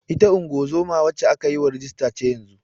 Ita ungozoma wacce aka yi rajista ce yanzun.